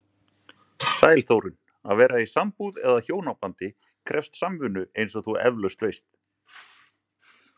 Sæl Þórunn, að vera í sambúð eða hjónabandi krefst samvinnu eins og þú efalaust veist.